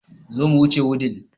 Zo mu wuce Wudil